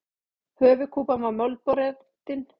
Höfuðkúpan var mölbrotin.